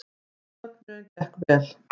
Söfnunin gekk vel